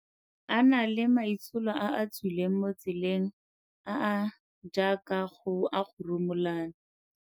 A na le maitsholo a a tswileng mo tseleng, a a jaaka a go rumulana.